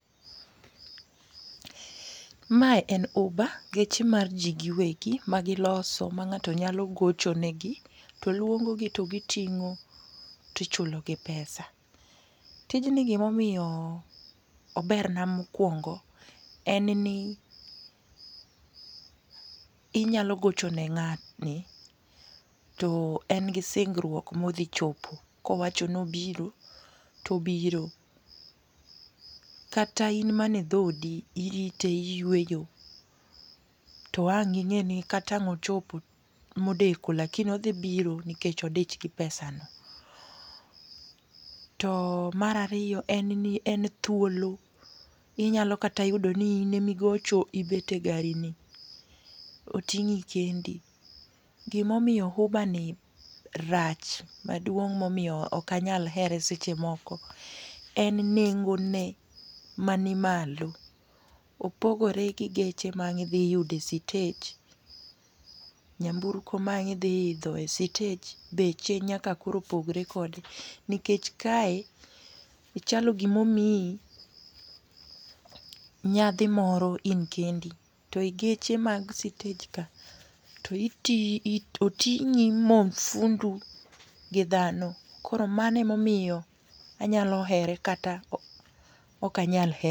Mae en uber, geche mar ji giwegi magiloso ma ng'ato nyalo gocho negi to luongogi to giting'o to ichulogi pesa. Tijni gima omiyo oberna mokuongo en ni inyalo gocho ne ng'atni to en gi singruok ma odhi chopo. Ka owacho ni obiro, to obiro kata in mana e dhoodi, irite iyueyo to ang' ing'eni ka ang' ochopo modeko lakini odhi biro nikech odich gi pesano. To mar aryo en ni en thuolo, inyalo kata yudo ni in ema igocho ibet e garini oting'i kendi. Gima omiyo Uber ni rach maduong' momiyo ok anyal here seche moko en nengone man malo opogore gi geche ma ang' Idhi yudo e sitej nyamburko ma ang' idhi idho e sitej beche nyaka koro pogre kode nikech kae chalo gima omiyi nyadhi moro in kendi to geche mag sitej ka to iting'i oting'i ma ofundu gi dhano koro mano ema omiyo anyalo here kata ok anyal her